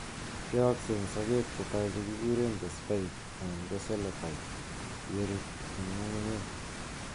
Yookse en sokeek chetai chekikureen the spike anan ko coleoptile, yerut en ngungunyeek